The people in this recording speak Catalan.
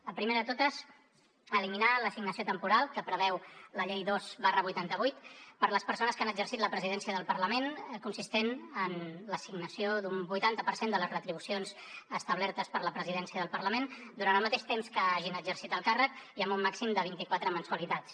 la primera de totes eliminar l’assignació temporal que preveu la llei dos dinou vuitanta vuit per a les persones que han exercit la presidència del parlament consistent en l’assignació d’un vuitanta per cent de les retribucions establertes per a la presidència del parlament durant el mateix temps que hagin exercit el càrrec i amb un màxim de vint quatre mensualitats